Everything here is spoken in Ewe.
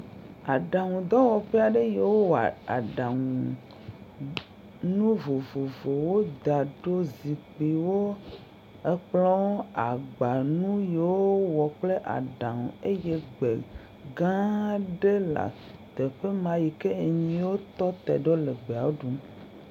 Aɖaŋu dɔwɔƒe aɖe yiwo wowɔa aɖaŋu nu vovovowo da ɖo, zikpuiwo, ekplɔwo, agbanu yiwo wowɔ kple aɖaŋu eye gbe gã aɖe le teƒe ma, yike nyiwo tɔ te ɖo le gbeawo ɖum.